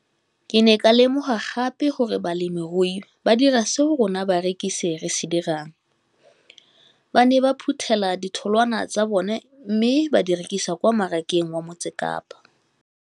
Ke ne ka lemoga gape gore balemirui ba dira seo rona barekisi re se dirang, ba ne ba phuthela ditholwana tsa bona mme ba di rekisa kwa marakeng wa Motsekapa.